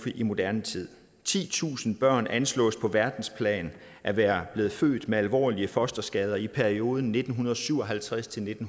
i moderne tid titusind børn anslås på verdensplan at være blevet født med alvorlige fosterskader i perioden nitten syv og halvtreds til